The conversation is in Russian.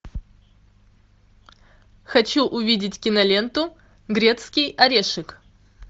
хочу увидеть киноленту грецкий орешек